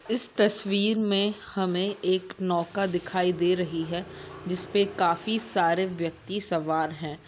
इस तस्वीर मे हमें एक नौका दिखाइ दे रही है जिसपे काफी सारे व्यक्ति सवार हैं।